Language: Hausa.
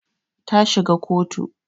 Ta shiga kotu